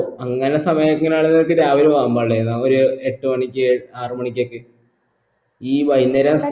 അങ്ങന സമയങ്ങളില്ക്ക് രാവിലെ പോവാൻ പാടില്ലായിരുന്നോ ഒരു എട്ട് മണിയ്ക്ക് ആറുമണിക്കൊക്കെ ഈ വൈകുന്നേരം